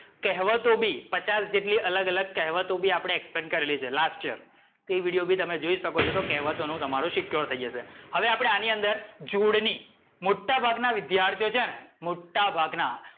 કહવતો બી પચાસ જેટલી અલગ અલગ કહેવતો આપણે expend કરેલી છે last year. તે વિડીયો બી તમે જોઈ શકો છો, તો કહેવતો નું તમારું secure થઈ જશે. હવે આપણે આની અંદર જોડણી, મોટા ભાગ ના વિધ્યાર્થીઓ છે ને મોટા ભાગના,